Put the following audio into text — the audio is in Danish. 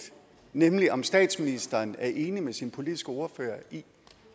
nemlig om statsministeren er enig med sin politiske ordfører i